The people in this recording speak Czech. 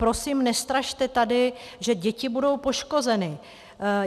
Prosím, nestrašte tady, že děti budou poškozeny.